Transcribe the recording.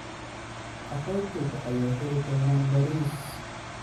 Qaxootiga ayaa heli doonan bariis.